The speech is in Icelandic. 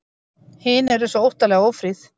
Hin eru svo óttalega ófríð.